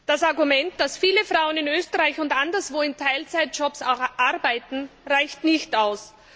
Das Argument, dass viele Frauen in Österreich und anderswo in Teilzeitjobs arbeiten, reicht nicht aus.